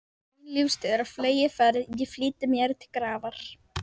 Mín lífstíð er á fleygiferð, ég flýti mér til grafar.